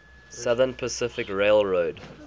southern pacific railroad